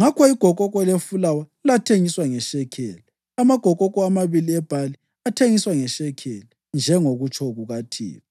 Ngakho igokoko lefulawa lathengiswa ngeshekeli, amagokoko amabili ebhali athengiswa ngeshekeli, njengokutsho kukaThixo.